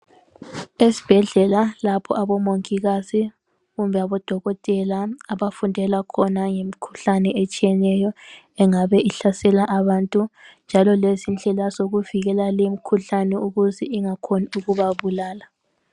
Esibhedlela lapho abamongikazi kumbe abodokotela abafundela khona ngemikhuhlane etshiyeneyo engabe ihlasela abantu njalo lezindlela zikuvikela le mkhuhlane ukuze ingakhoni ukubabulala.